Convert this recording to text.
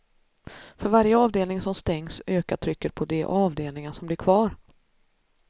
För varje avdelning som stängs ökar trycket på de avdelningar som blir kvar.